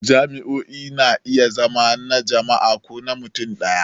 Jami'o'i na iya zama na jama'a ko na mutum ɗaya.